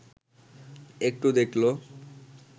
একটু দেখল